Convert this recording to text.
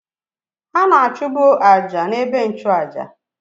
Ha na-achụbụ àjà na-ebe nnchu àjà